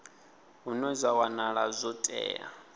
hune zwa wanala zwo tea